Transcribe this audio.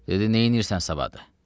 Dedi, neynirsən savadı?